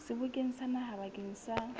sebokeng sa naha bakeng sa